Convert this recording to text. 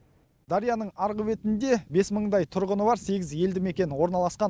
дарияның арғы бетінде бес мыңдай тұрғыны бар сегіз елдімекен орналасқан